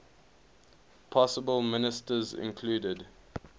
possible ministers included